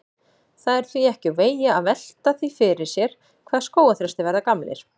Það er því ekki úr vegi að velta því fyrir sér hvað skógarþrestir verða gamlir.